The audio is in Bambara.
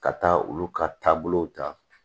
Ka taa olu ka taabolow ta